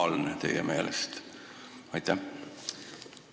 On see teie meelest normaalne?